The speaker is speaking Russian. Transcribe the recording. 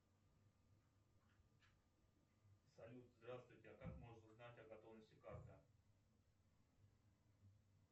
салют здравствуйте а как можно узнать о готовности карты